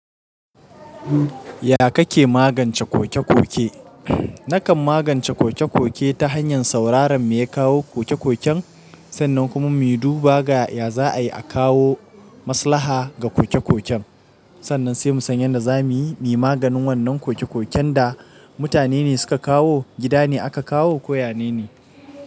Ya kake magance kokekoke? Nakan magance kokekoke ta hanyar sauraron me kawo kokekoken sannan kuma mu duba ga ya za'a yi a kawo maslaha ga kokekoken. Sannan sai mu san yadda zamuyi maganin wannan kokekoken da mutane ne suka kawo, gidane aka kawo ko yanene.